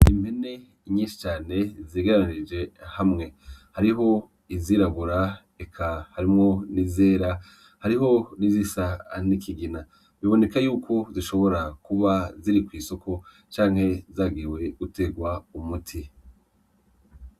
Impene nyinshi cane zegeranirije hamwe , hariho izirabura eka harimwo nizera , hariho nizisa nikigina bibonekako yuko zishobora kuba ziri kwisoko canke zagiye guterwa umuti .